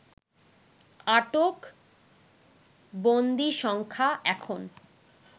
আটক বন্দীসংখ্যা এখন